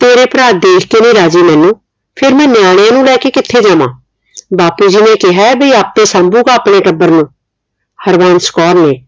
ਤੇਰੇ ਭਰਾ ਦੇਖ ਕੇ ਨੀ ਰਾਜ਼ੀ ਮੈਨੂੰ ਫਿਰ ਮੈਂ ਨਿਆਣਿਆਂ ਨੂੰ ਲੈ ਕੇ ਕਿਥੇ ਜਾਵਾਂ। ਬਾਪੂ ਜੀ ਨੇ ਕਿਹਾ ਵੀ ਆਪ ਹੀ ਸਾਂਭੂਗਾ ਆਪਣੇ ਟੱਬਰ ਨੂੰ। ਹਰਬੰਸ ਕੌਰ ਨੇ